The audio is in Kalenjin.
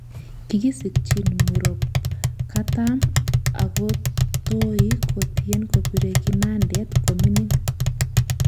Kikisikchin Muropkatam akotoi kotyen kopire kinandet kominimg